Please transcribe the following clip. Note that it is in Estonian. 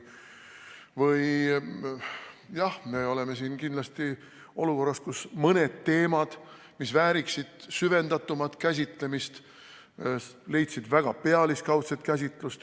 Jah, me oleme kindlasti olukorras, kus mõned teemad, mis vääriksid süvendatumat käsitlemist, leidsid väga pealiskaudset käsitlust.